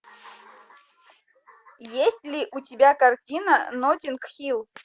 есть ли у тебя картина ноттинг хилл